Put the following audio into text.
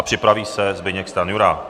A připraví se Zbyněk Stanjura.